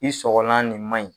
I sɔgɔlan nin manɲi